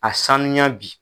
A sanuya bi.